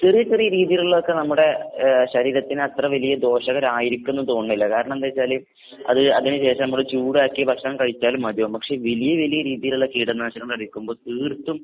ചെറിയ ചെറിയ രീതീലുള്ളതൊക്കെ നമ്മടെ ഏഹ് ശരീരത്തിനത്ര വലിയ ദോഷകരായിരിക്കുംന്ന് തോന്നുന്നില്ല. കാരണം എന്താച്ചാല് അത് അതിന് ശേഷം നമ്മള് ചൂടാക്കി ഭക്ഷണം കഴിച്ചാലും മതിയാവും. പക്ഷെ വലിയ വലിയ രീതീലുള്ള കീടനാശിനികളടിക്കുമ്പോ തീർത്തും